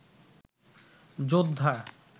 যোদ্ধা